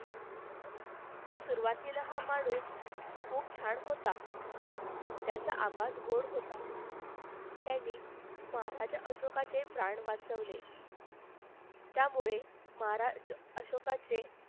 सुरुवातीला हा माणूस खूप छान होता. त्याचा आवाज गोड होता. त्याने महाराज अशोकाचे प्राण वाचवले. त्यामुळे महाराज अशोकाचे